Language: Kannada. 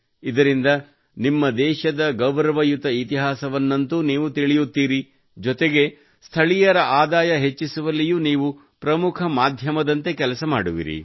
ಇದರಿಂದ ನಿಮ್ಮ ದೇಶದ ಗೌರವಯುತ ಇತಿಹಾಸವನ್ನಂತೂ ನೀವು ತಿಳಿಯುತ್ತೀರಿ ಜೊತೆಗೆ ಸ್ಥಳೀಯರ ಆದಾಯ ಹೆಚ್ಚಿಸುವಲ್ಲಿಯೂ ನೀವು ಪ್ರಮುಖ ಮಾಧ್ಯಮದಂತೆ ಕೆಲಸ ಮಾಡುವಿರಿ